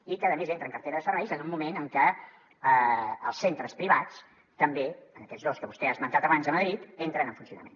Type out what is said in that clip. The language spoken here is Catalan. i a més entra en cartera de serveis en un moment en què els centres privats també en aquests dos que vostè ha esmentat abans de madrid entren en funcionament